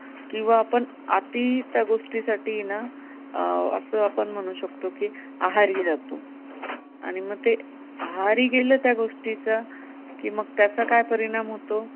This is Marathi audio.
किंवा आपण त्यात अति गोष्टीसाठी ना अं असं आपण म्हणू शकतो की आहारी जातो आणि मग ते आहारी गेलं त्या गोष्टीचा की मग त्याचा काय परीणाम होतो?